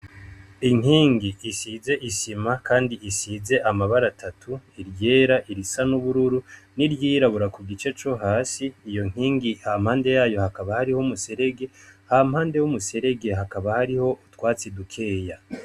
Inkingi isize isima, kandi isize amabara atatu iryera irisa n'ubururu n'iryirabura ku gice co hasi iyo nkingi ha mpande yayo hakaba hariho umuserege ha mpande w'umuserege hakaba hariho twatse idukeya.